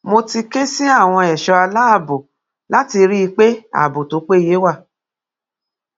mo ti ké sí àwọn ẹṣọ aláàbọ láti rí i pé ààbò tó péye wà